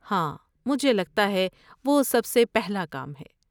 ہاں، مجھے لگتا ہے وہ سب سے پہلا کام ہے۔